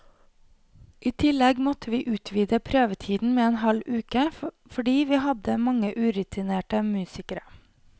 I tillegg måtte vi utvide prøvetiden med en halv uke, fordi vi hadde mange urutinerte musikere.